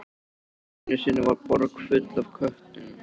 Einu sinni var borg full af köttum.